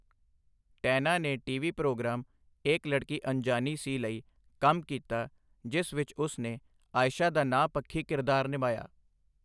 ਟੈਨਾ ਨੇ TV programme 'Ek Ladki Anjaani Si' ਲਈ ਕੰਮ ਕੀਤਾ ਜਿਸ ਵਿੱਚ ਉਸ ਨੇ ਆਇਸ਼ਾ ਦਾ ਨਾਂਹ ਪੱਖੀ ਕਿਰਦਾਰ ਨਿਭਾਇਆ।